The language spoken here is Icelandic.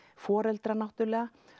foreldrar náttúrulega